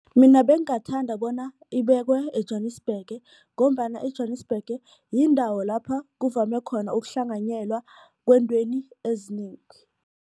Mina bengingathanda bona ibekwe eJwanisbhege ngombana eJwanisbhege yindawo lapha kuvame khona ukuhlanganyelwa kweentweni ezinengi.